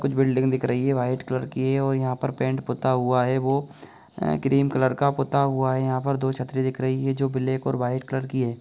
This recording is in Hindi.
कुछ बिल्डिंग दिख रही है वाइट कलर की है और यहां पर पेंट पुता हुआ है वो अ क्रीम कलर का पुता हुआ है। यहाँ पर दो छतरी दिख रही है जो ब्लैक और वाइट कलर की है।